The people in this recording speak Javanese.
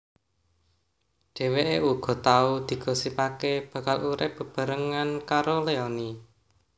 Dheweké uga tau digosipaké bakal urip bebarengan karo Leony